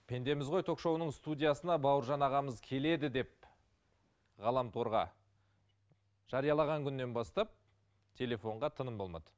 пендеміз ғой ток шоуының студиясына бауыржан ағамыз келеді деп ғаламторға жариялаған күннен бастап телефонға тыным болмады